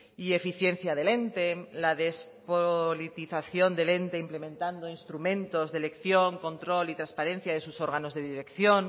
y eficiencia del ente la despolitización del ente implementando instrumentos de elección control y transparencia de sus órganos de dirección